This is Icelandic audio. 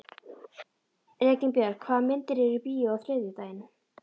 Reginbjörg, hvaða myndir eru í bíó á þriðjudaginn?